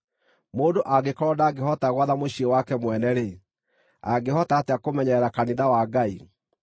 (Mũndũ angĩkorwo ndangĩhota gwatha mũciĩ wake mwene-rĩ, angĩhota atĩa kũmenyerera kanitha wa Ngai?)